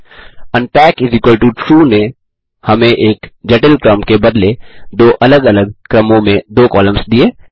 unpackTrue नें हमें एक जटिल क्रम के बदले दो अलग अलग क्रमों में दो कॉलम्स दिए